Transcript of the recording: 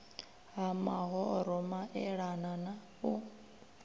ha mahoro maelana na u